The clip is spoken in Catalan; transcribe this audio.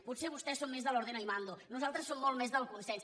potser vostès són més de l’ ordeno y mando nosaltres som molt més del consens